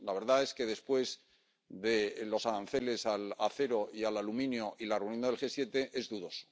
La verdad es que después de los aranceles al acero y al aluminio y de la reunión del G7, es dudoso.